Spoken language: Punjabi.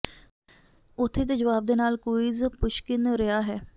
ਉੱਥੇ ਦੇ ਜਵਾਬ ਦੇ ਨਾਲ ਕੁਇਜ਼ ਪੁਸ਼ਕਿਨ ਰਿਹਾ ਹੈ